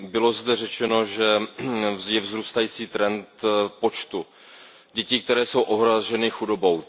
Bylo zde řečeno, že je vzrůstající trend počtu dětí, které jsou ohroženy chudobou.